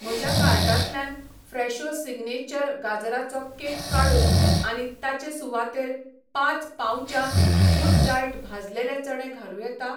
म्हज्या कार्टांतल्यान Fresho signature गाजराचो केक काडून आनी ताचे सुवातेर पांच पाउचां गुडडाएट भाजलेले चणे घालूं येता?